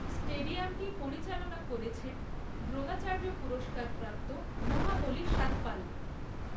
স্টেডিয়ামটি পরিচালনা করেছেন দ্রোণাচার্য পুরস্কারপ্রাপ্ত মহাবালী সতপাল।